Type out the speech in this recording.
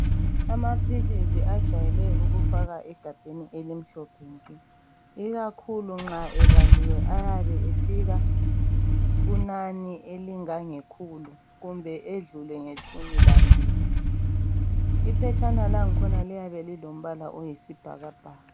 Amaphilisi ajeyele ukufakwa egabheni elimhlophe ikakhulu nxa ebaliwe ayabe efika kunani elingangekhulu kumbe edlule ngetshumi lambili, iphetshana lakhona liyabe lilombala oyisibhakabhaka.